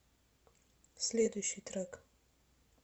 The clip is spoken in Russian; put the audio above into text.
следующий трек